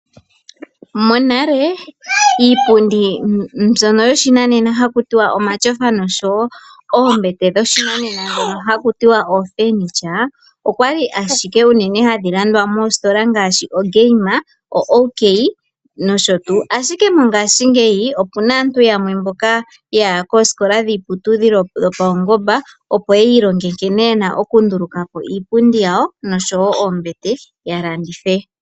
Monale iipundi mbyono yo shinanena haku tiwa omatyofa noshowo oombete dhoshi nanena dhono haku tiwa oofurniture, okwali ashike hadhi landwa moositola ngaashi oGame, OK, nosho tuu. Ashike mongashingeyi, opuna aantu yamwe mboka yaya koosikola dhiiputudhilo dhopaungomba, opo yi ilonge nkene yena okunduluka po iipundi yawo, noshowo oombete, yo ya landithe.